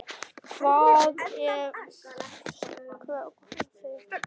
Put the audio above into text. Hvað ef koma börn?